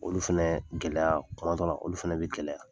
Olu fɛnɛ gɛlɛya, kuma dɔ la, olu fɛnɛ bi gɛlɛya.